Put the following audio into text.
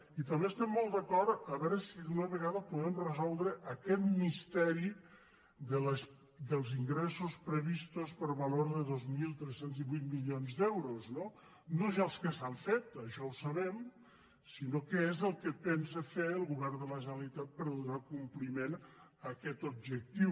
i també estem molt d’acord a veure si d’una vegada podem resoldre aquest misteri dels ingresso previstos per valor de dos mil tres cents i divuit milions d’euros no no ja els que s’han fet això ho sabem sinó què és el que pensa fer el govern de la generalitat per donar compliment a aquest objectiu